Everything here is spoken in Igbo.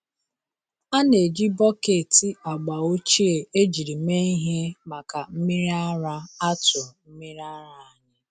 A na-eji bọket agba ochie ejiri mee ihe maka mmiri ara atụ mmiri ara anyị.